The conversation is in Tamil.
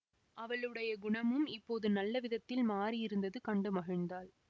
அவளுடைய குணமும் இப்போது நல்ல விதத்தில் மாறியிருந்தது கண்டு மகிழ்ந்தாள்